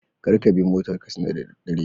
Karkabi motar katsina da daddare